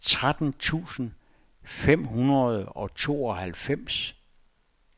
tretten tusind fem hundrede og tooghalvfems